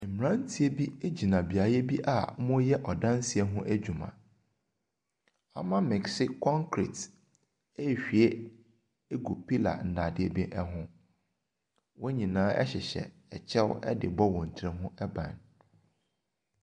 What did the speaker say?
Mmeranteɛ bi gyina beaeɛ bi a wɔreyɛ adansie adwuma. Wɔamekese concrete ɛrehwie agu pillar nnade bi ho. Wɔn nyinaa hyehyɛ kyɛw de rebɔ wɔn ti ban.